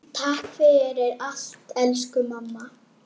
Takk fyrir allt elsku mamma.